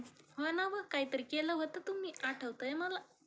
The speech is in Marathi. हो ना वं, काहीतरी केलं होत तुम्ही , आठवतय मला